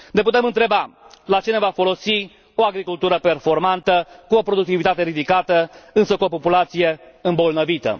Ne putem întreba la ce ne va folosi o agricultură performantă cu o productivitate ridicată, însă cu o populație îmbolnăvită.